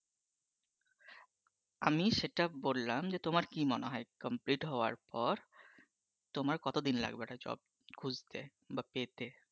আমি সেটা বললাম যে, তোমার কি মনে হয় complete হওয়ার পর তোমার কতদিন লাগবে একটা job খুঁজতে বা পেতে?